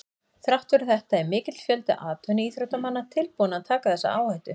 Þrátt fyrir þetta er mikill fjöldi atvinnuíþróttamanna tilbúinn að taka þessa áhættu.